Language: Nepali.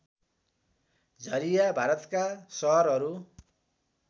झरिया भारतका सहरहरू